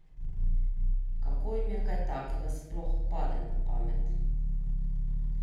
Kako jim kaj takega sploh pade na pamet?